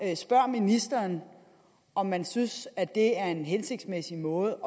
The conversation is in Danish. jeg spørger ministeren om man synes at det er en hensigtsmæssig måde